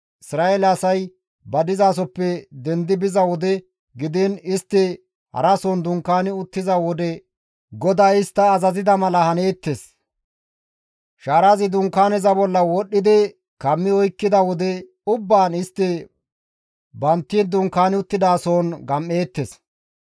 Isra7eele asay ba dizasoppe dendi biza wode gidiin istti harason dunkaani uttiza wode GODAY istta azazida mala haneettes; shaarazi Dunkaaneza bolla wodhdhidi kammi oykkida wode ubbaan istti bantti dunkaani uttidasohon gam7eettes.